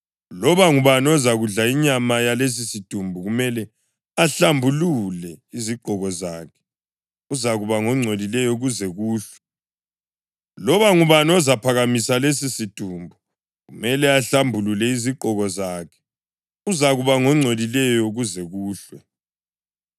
Loba ngubani ozakudla inyama yalesisidumbu kumele ahlambulule izigqoko zakhe, uzakuba ngongcolileyo kuze kuhlwe. Loba ngubani ozaphakamisa lesisidumbu, kumele ahlambulule izigqoko zakhe, uzakuba ngongcolileyo kuze kuhlwe.